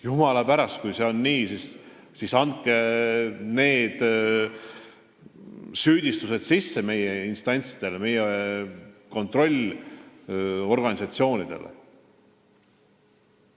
Jumala pärast, kui see on nii, siis andke sellest teada meie instantsidele, meie kontrollorganitele.